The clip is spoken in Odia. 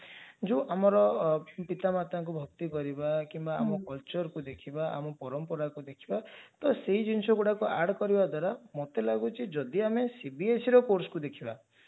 ଯଉ ଆମର ପିତା ମାତାଙ୍କୁ ଭକ୍ତି କରିବା କିମ୍ବା ଆମ cultureକୁ ଦେଖିବା ଆମ ପରମ୍ପରାକୁ ଦେଖିବା ତ ସେଇ ଜିନିଷଗୁଡକୁ add କରିବା ଦ୍ଵାରା ମତେ ଲାଗୁଛି ଯଦି ଆମେ cbseର course କୁ ଦେଖିବା